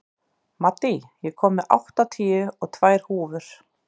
Maddý, ég kom með áttatíu og tvær húfur!